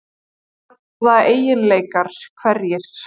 Hvaða eiginleikar, hverjir?